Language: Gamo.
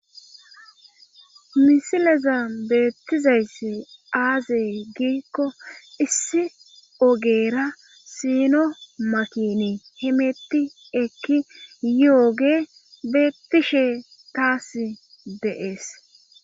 misileza beettizayssi aazey giikko issi ogeera siino makini himetti ekki yoge beettishe taas deees